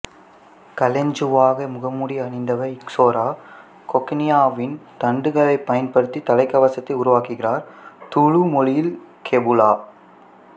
கலென்ஜாவாக முகமூடி அணிந்தவர் இக்ஸோரா கோக்கினியாவின் தண்டுகளைப் பயன்படுத்தி தலைக்கவசத்தை உருவாக்குகிறார் துலு மொழியில் கெபுலா